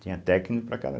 Tinha técnico para cada